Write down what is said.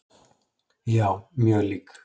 Já, mjög lík.